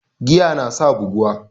Giya nasa buguwa